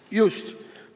Just!